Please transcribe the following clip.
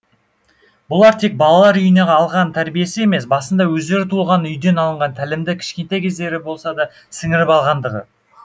бұлар тек балалар үйінен алған тәрбиесі емес басында өздері туылған үйден алынған тәлімді кішкентай кездері болсада сіңіріп алғандығы